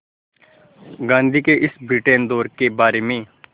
गांधी के इस ब्रिटेन दौरे के बारे में